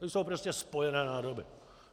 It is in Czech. To jsou prostě spojené nádoby.